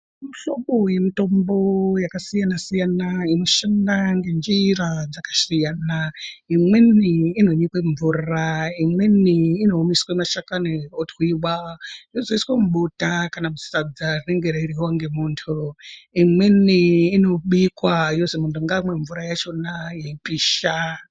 Muhlobo wemitombo yakasiyana siyana inoshanda ngenjira dzakasiyana imweni inonyikwe mumvura, imweni inoiswa mashakani otwiwa yozoiswe mubota kana kuti sadza rinenge reiryiwa ngemuntu, imweni inobikwa yozi muntu ngaamwe mvura yachona yeipisha.